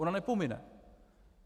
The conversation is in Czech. Ona nepomine.